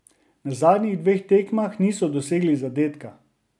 Na zadnjih dveh tekmah niso dosegli zadetka.